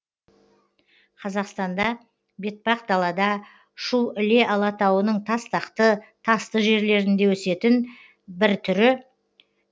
қазақстанда бетпақдалада шу іле алатауының тастақты тасты жерлерінде өсетін бір түрі